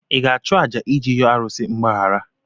Ị ga-achụ àjà iji yọọ arụsị mgbaghara?